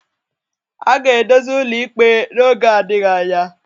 A ga-edozi ụlọ ikpe n'oge adịghị anya